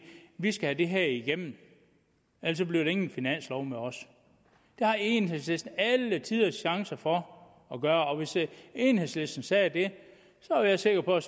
vi skal have det her igennem eller bliver der ingen finanslov med os det har enhedslisten alle tiders chance for at gøre og hvis enhedslisten sagde det er jeg sikker på at